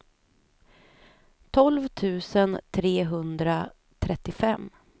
tolv tusen trehundratrettiofem